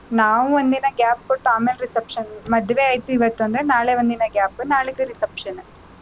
ನಾವ್ ಒಂದಿನ gap ಕೊಟ್ಟು ಆಮೇಲ್ reception ಮದ್ವೆ ಆಯ್ತು ಇವತ್ತುನ್ದ್ರೆ ನಾಳೆ ಒಂದ್ ದಿನ gap ನಾಳಿದ್ದು reception .